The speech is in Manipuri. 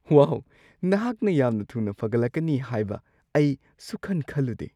ꯋꯥꯎ! ꯅꯍꯥꯛꯅ ꯌꯥꯝꯅ ꯊꯨꯅ ꯐꯒꯠꯂꯛꯀꯅꯤ ꯍꯥꯏꯕ ꯑꯩ ꯁꯨꯡꯈꯟ-ꯈꯜꯂꯨꯗꯦ꯫